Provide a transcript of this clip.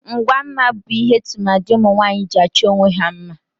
Ngwa mma bu ihe tụmadị ụmunwaanyị ji achọ onwe ha mma.